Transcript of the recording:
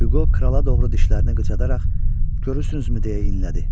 Hüqo krala doğru dişlərini qıcadan, görürsünüzmü deyə inlədi.